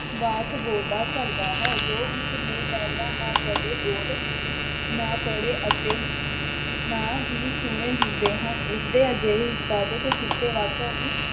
ਵਾਕ ਬੋਲਦਾ ਘੱਟਦਾ ਹੈ ਜੋ ਉਸਨੇ ਪਹਿਲਾਂ ਨਾ ਕਦੇ ਬੋਲ ਨਾ ਪੜ੍ਹੇ ਅਤੇ ਨਾ ਹੀ ਸੁਣੇ ਹੁੰਦੇ ਹਨ। ਉਸਦੇ ਅਜਿਹੇ ਉਤਪਾਧਕ ਕੀਤੇ ਵਾਕਾਂ ਨੂੰ